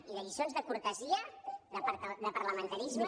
i de lliçons de cortesia de parlamentarisme